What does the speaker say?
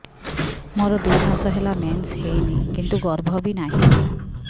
ମୋର ଦୁଇ ମାସ ହେଲା ମେନ୍ସ ହେଇନି କିନ୍ତୁ ଗର୍ଭ ବି ନାହିଁ